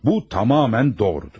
Bu, tamamilə doğrudur.